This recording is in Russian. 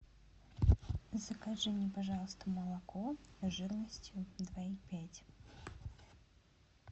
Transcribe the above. закажи мне пожалуйста молоко жирностью два и пять